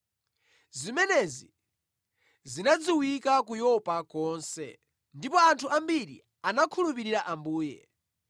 Zimenezi zinadziwika ku Yopa konse, ndipo anthu ambiri anakhulupirira Ambuye.